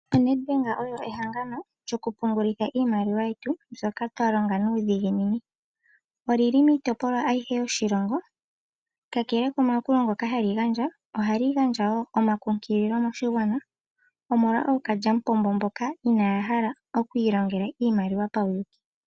O Net Bank olyo ehangano lyoku pungulila iimaliwa yetu mbyoka twa longa nuudhigini. Olili miitopolwa ayihe yoshilongo. Kakele komayakulo ngoka hali gandja . Ohali gandja woo omakunkililo moshigwana omolwa ookalyampombo mboka inaaya hala oku ilongela iimaliwa pauyuuki.